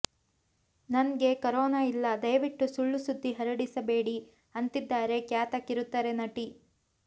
ನನ್ಗೆ ಕೊರೊನಾ ಇಲ್ಲ ದಯವಿಟ್ಟು ಸುಳ್ಳು ಸುದ್ದಿ ಹರಡಿಸ್ಬೇಡಿ ಅಂತಿದ್ದಾರೆ ಖ್ಯಾತ ಕಿರುತೆರೆ ನಟಿ